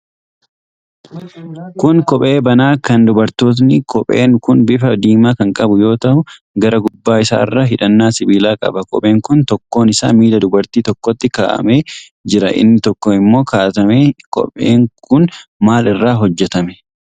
Kun Kophee banaa kan dubartootaati. Kopheen kun bifa diimaa kan qabu yoo ta'u, gara gubbaa isaarra hidhannaa sibiilaa qaba. Kopheen kun tokkoon isaa miila dubartii tokkootti kaa'atamee jira. Inni tokko immoo hin kaa'atamne. Kopheen kun maal irraa hojjatame?